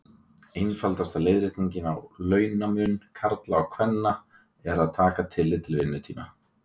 Einfaldasta leiðréttingin á launamun karla og kvenna er að taka tillit til vinnutíma.